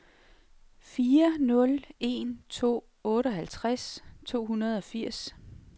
fire nul en to otteoghalvtreds to hundrede og firs